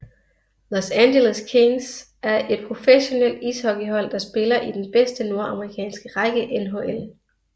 Los Angeles Kings er et professionelt ishockeyhold der spiller i den bedste nordamerikanske række NHL